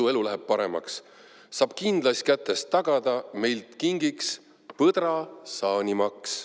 Su elu läheb paremaks, saab kindlaist kätest tagada: meilt kingiks põdrasaanimaks.